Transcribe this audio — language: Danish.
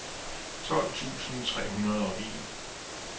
tolv tusind tre hundrede og en